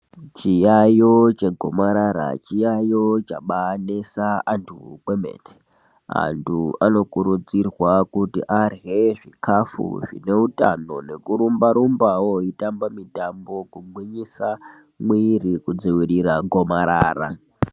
Chayayo chegomarara chiyayo chabaanesa antu kwemene. Antu anokurudzirwa kuti arye zvikafu zvineutano nekurumbarumbawo eitamba mitambo kugwinyisa mwiiri kudzivirira gomarara.